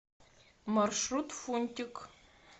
маршрут фунтик